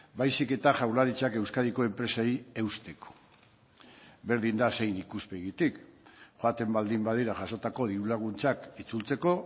baizik eta jaurlaritzak euskadiko enpresei eusteko berdin da zein ikuspegitik joaten baldin badira jasotako diru laguntzak itzultzeko